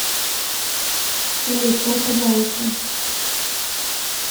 салют о пожалуйста